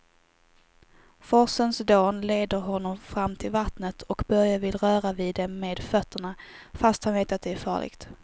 Forsens dån leder honom fram till vattnet och Börje vill röra vid det med fötterna, fast han vet att det är farligt.